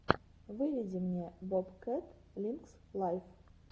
выведи мне бобкэт линкс лайв